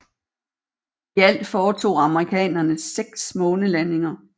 I alt foretog amerikanerne 6 månelandinger